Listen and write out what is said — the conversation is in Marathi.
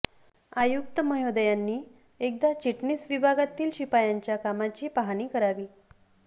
आयुक्त महोदयांनी एकदा चिटणीस विभागातील शिपायांच्या कामाची पाहणी करावी